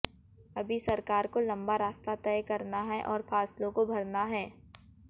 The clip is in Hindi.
अभी सरकार को लंबा रास्ता तय करना है और फासलों को भरना है